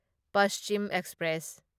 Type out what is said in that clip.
Paschim express